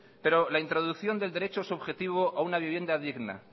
pero la introducción del derecho subjetivo a una vivienda digna